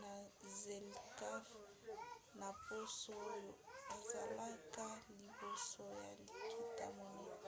na zlecaf na poso oyo ezalaka liboso ya likita monene